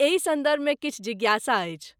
एही सन्दर्भ मे किछु जिज्ञासा अछि।